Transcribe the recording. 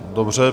Dobře.